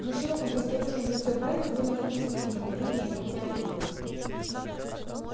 на широком простодушном лице брента было написано недоумение и лёгкая обида